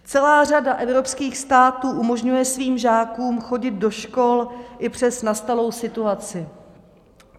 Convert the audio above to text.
Celá řada evropských států umožňuje svým žákům chodit do škol i přes nastalou situaci.